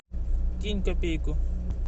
кинь копейку